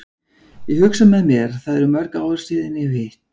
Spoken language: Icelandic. Ég hugsa með mér, það eru mörg ár síðan ég hef hitt